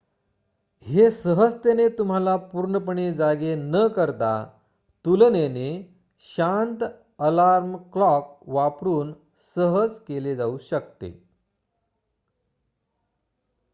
हे सहजतेने तुम्हाला पूर्णपणे जागे न करता तुलनेने शांत अलार्म क्लॉक वापरुन सहज केले जाऊ शकते